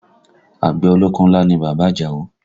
Àgbẹ̀ ọlọ́kọ́ ńlá ni bàbá Àjàó